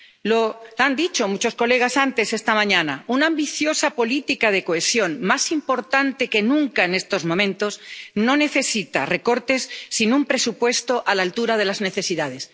Lo han dicho muchos colegas antes esta mañana una ambiciosa política de cohesión, más importante que nunca en estos momentos, no necesita recortes, sino un presupuesto a la altura de las necesidades.